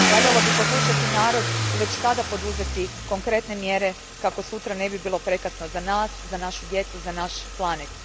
Valjalo bi poslušati narod i već sada poduzeti konkretne mjere kako sutra ne bi bilo prekasno za nas, našu djecu, naš planet.